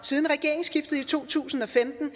siden regeringsskiftet i to tusind og femten